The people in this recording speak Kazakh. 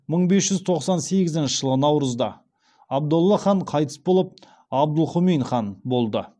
мың бес жүз тоқсан сегізінші жылы наурызда абдолла хан қайтыс болып абдылһұмин хан болды